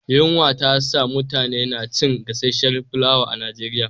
Yunwa ta sa mutane na cin gasasshiyar fulawa a Nigeria